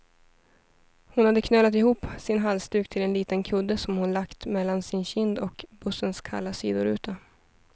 Hon hade knölat ihop sin halsduk till en liten kudde, som hon hade lagt mellan sin kind och bussens kalla sidoruta.